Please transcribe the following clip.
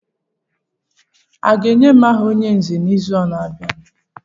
A ga-enye m aha onye nzè n'izu na-abịa?